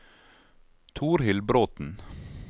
Torhild Bråten